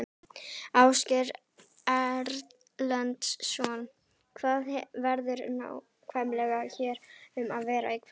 Ásgeir Erlendsson: Hvað verður nákvæmlega hér um að vera í kvöld?